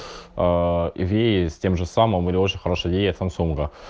аа еврей с тем же самым или очень хорошая идея самсунга